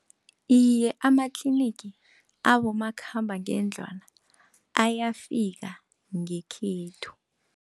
Iye, amatlinigi abomakhambangendlwana ayafika ngekhethu.